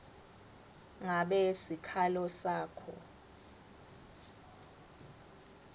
ngabe sikhalo sakho